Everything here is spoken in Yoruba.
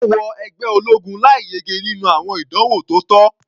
Ó wọ ẹgbẹ́ ológun láì yege nínú àwọn ìdánwò tó tọ́.